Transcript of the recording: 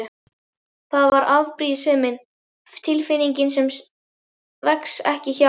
Það var afbrýðisemin, tilfinning sem vex ekki hjá